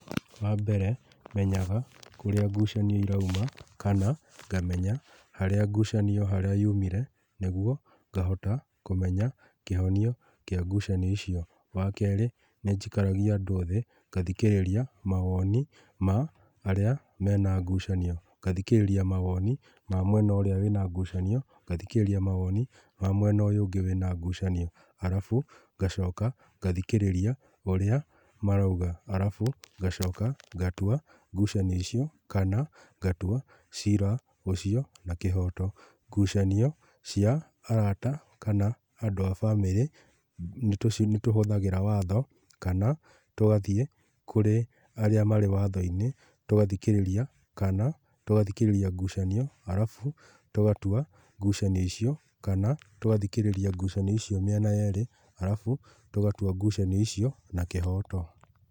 Wa mbere, menyaga kũrĩa ngucanio irauma, kana ngamenya haria ngucanio harĩa yumire, nĩguo ngahota kũmenya kĩhonio kĩa ngucanio icio. Wa kerĩ, nĩ njikaragia andũ thĩ, ngathikĩrĩria mawoni ma arĩa mena ngucanio. Ngathikĩrĩria mawoni ma mwena ũrĩa wĩna ngucanio, ngathikĩrĩria mawoni ma mwena ũyũ ũngĩ wĩna ngucanio, arabu ngacoka ngathikĩrĩria ũria marauga, arabu ngacoka ngatua ngucanio icio, kana ngatua ciira ũcio na kĩhoto. Ngucanio cia arata kana andũ a bamĩrĩ, nĩ tũci, tũhũthagĩra watho kana tũgathiĩ kũrĩ arĩa marĩ watho-inĩ, tũgathikĩrĩria, kana tũgathikĩrĩria ngucanio, arabu tũgatua ngucanio icio, kana tũgathikĩrĩria ngucanio icio mĩena yerĩ, arabu tũgatua ngucanio icio na kĩhoto.